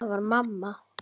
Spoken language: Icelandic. Það var mamma.